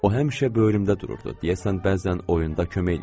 O həmişə böyürümdə dururdu, deyəsən bəzən oyunda kömək eləyirdi.